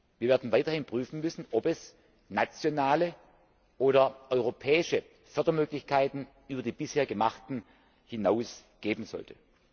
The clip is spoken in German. Wir werden weiterhin prüfen müssen, ob es nationale oder europäische Fördermöglichkeiten über die bisher geschaffenen hinaus geben sollte.